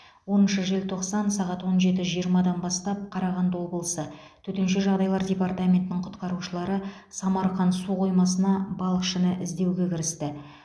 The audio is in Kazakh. оныншы желтоқсан сағат он жеті жиырмадан бастап қарағанды облысы төтенше жағдайлар департаментінің құтқарушылары самарқан су қоймасында балықшыны іздеуге кірісті